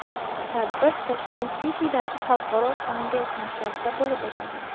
Tadbir Tashkent City’dagi Xalqaro kongress markazida bo‘lib o‘tadi.